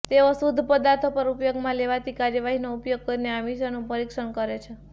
તેઓ શુદ્ધ પદાર્થો પર ઉપયોગમાં લેવાતી કાર્યવાહીનો ઉપયોગ કરીને આ મિશ્રણનું પરીક્ષણ કરે છે